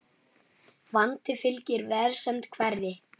Vandi fylgir vegsemd hverri.